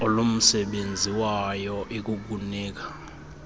olumsebenzi wayo ikukunika